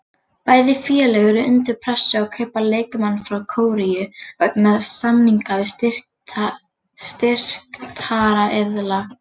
Bæði félög eru undir pressu á að kaupa leikmann frá Kóreu vegna samninga við styrktaraðila.